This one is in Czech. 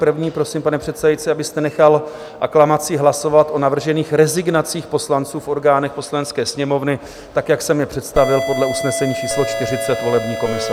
První, prosím, pane předsedající, abyste nechal aklamací hlasovat o navržených rezignacích poslanců v orgánech Poslanecké sněmovny, tak jak jsem je představil podle usnesení číslo 40 volební komise.